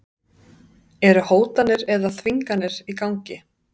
Eru hótanir eða þvinganir í gangi?